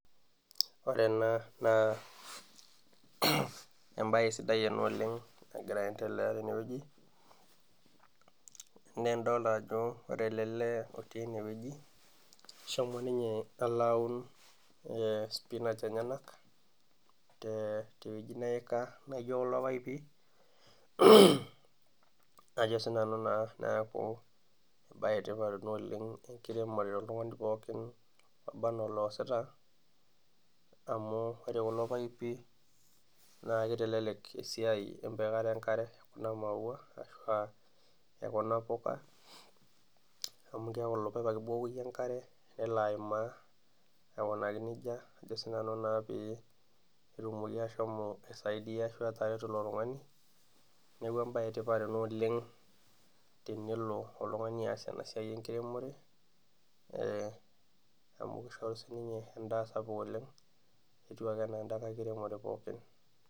Ore ena naa embae sidai ena oleng ,nagira aendelea teneweji, naa ore ele lee lotii eneweji eshomo ninye alo aun spinach enyenak ,teweji neika naijo kulo paipi .neeku embae sidai ena enkiremore toltungani pookin oba anaa oloosita, amu ore kulo paipi naa kitelelek esiai empikata enkare kuna maua ashua Kuna puka amu keeku ilo paip ake iyieu ibukoki enkare nelo aimaa aikunaki nejia pee etumoki atareto ilo tungani ,neeku embae etipat ena tenelo oltungani aas ena siai enkiremore ,amu kishoru siininye endaa sapuk oleng etiu ake siininye endaa enkiremore pookin.